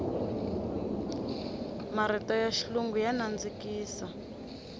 marito ya xilungu ya nandzikisa